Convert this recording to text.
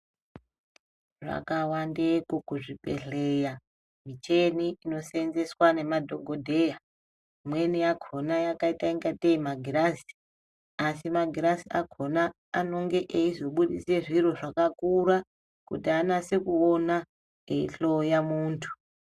Dzakawandeko kuzvibhedhlera muchini ino shaenzeswa nemadhokodheya imweni yakona yakaita ngateyi magirazi asi magirazi akona ano.ge eyizobudisa zviro zvakakura kuti anese kuona eyi hloya muntu.